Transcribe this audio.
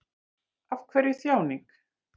Af hverju þjáning?